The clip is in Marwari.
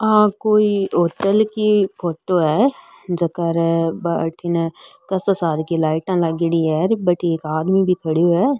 आ कोई होटल की फोटो है जेकर अठीने कासा सार की लाइटा लागेड़ी है बठ एक आदमी भी खड़ो है।